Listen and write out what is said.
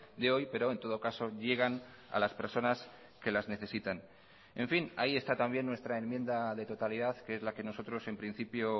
de hoy pero en todo caso llegan a las personas que las necesitan en fin ahí está también nuestra enmienda de totalidad que es la que nosotros en principio